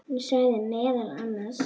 Hann sagði meðal annars